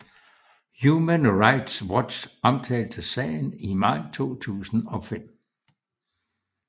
Human Rights Watch omtalte sagen i maj 2005